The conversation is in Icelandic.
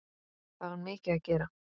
Það var mikið að gera.